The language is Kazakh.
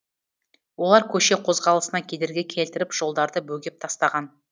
олар көше қозғалысына кедергі келтіріп жолдарды бөгеп тастаған